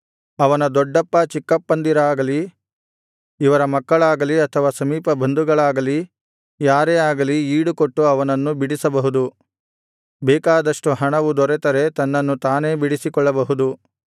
ಅವನ ದೊಡ್ಡಪ್ಪ ಚಿಕ್ಕಪ್ಪಂದಿರಾಗಲಿ ಇವರ ಮಕ್ಕಳಾಗಲಿ ಅಥವಾ ಸಮೀಪಬಂಧುಗಳಲ್ಲಿ ಯಾರೇ ಆಗಲಿ ಈಡುಕೊಟ್ಟು ಅವನನ್ನು ಬಿಡಿಸಬಹುದು ಬೇಕಾದಷ್ಟು ಹಣವು ದೊರೆತರೆ ತನ್ನನ್ನು ತಾನೇ ಬಿಡಿಸಿಕೊಳ್ಳಬಹುದು